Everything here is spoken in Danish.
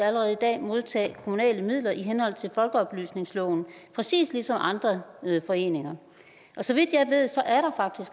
allerede i dag modtage kommunale midler i henhold til folkeoplysningsloven præcis som andre foreninger så vidt